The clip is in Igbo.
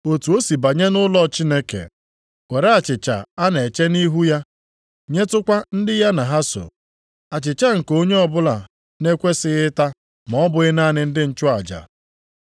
Otu o si banye nʼụlọ Chineke, were achịcha a na-eche nʼihu ya, nyetụkwa ndị ya na ha so, achịcha nke onye ọbụla na-ekwesighị ịta ma ọ bụghị naanị ndị nchụaja.”